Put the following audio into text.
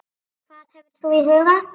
Hvað hefur þú í huga?